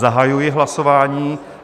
Zahajuji hlasování.